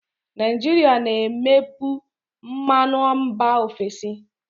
Naijiria na-ebupu mmanụ mba ofesi.